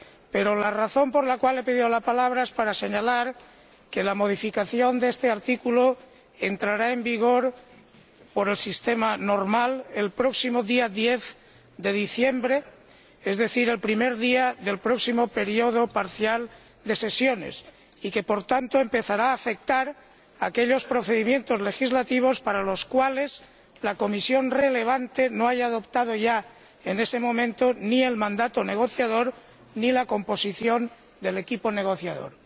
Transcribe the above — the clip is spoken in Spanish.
Pero la razón por la cual he pedido la palabra es para señalar que la modificación de este artículo entrará en vigor, con arreglo al procedimiento normal, el próximo día 10 de diciembre, es decir, el primer día del próximo período parcial de sesiones, y que, por tanto, empezará a afectar a aquellos procedimientos legislativos para los cuales la comisión correspondiente aún no haya adoptado, en ese momento, ni el mandato negociador ni la composición del equipo negociador.